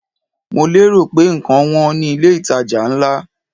Mo lérò pé ǹkan wọn ní ilé ìtajà ńlá.